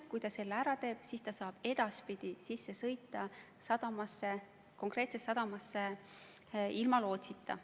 Kui ta selle ära teeb, siis ta saab edaspidi sõita konkreetsesse sadamasse ilma lootsita.